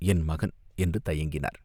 என் மகன், என்று தயங்கினார்.